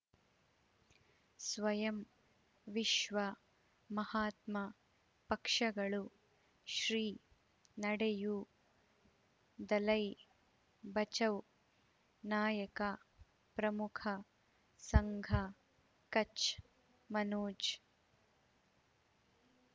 ಸ್ವಯಂ ವಿಶ್ವ ಮಹಾತ್ಮ ಪಕ್ಷಗಳು ಶ್ರೀ ನಡೆಯೂ ದಲೈ ಬಚೌ ನಾಯಕ ಪ್ರಮುಖ ಸಂಘ ಕಚ್ ಮನೋಜ್